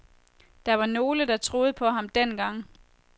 Der var nogle, der troede på ham dengang.